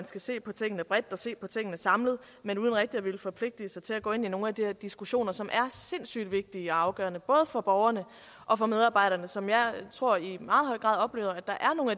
skal se på tingene bredt og se på tingene samlet men uden rigtig at ville forpligte sig til at gå ind i nogen af de her diskussioner som er sindssyg vigtige og afgørende både for borgerne og for medarbejderne som jeg tror i meget høj grad oplever at der